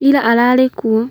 Ira arĩ kuo